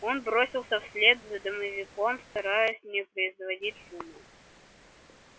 он бросился вслед за домовиком стараясь не производить шума